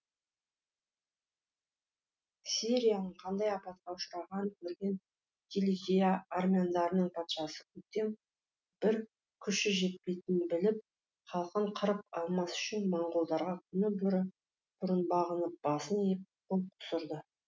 ксерияның қандай апатқа ұшырағанын көрген киликия армяндарының патшасы гутем бір күші жетпейтінін біліп халқын қырып алмас үшін монғолдарға күні бұрын бағынып басын иіп қол қусырды